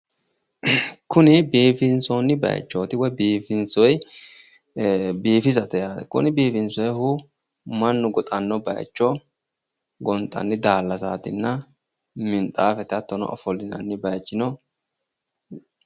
Kuni biifinsoonni bayichooti woy biifisate yaate. Kuni biifinsoyihu mannu goxanno bayicho gonxanni daallasaatinna minxaafe hattono ofollinanni bayichino